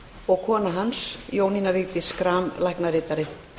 og kona hans jónína vigdís schram læknaritari